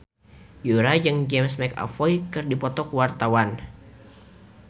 Yura jeung James McAvoy keur dipoto ku wartawan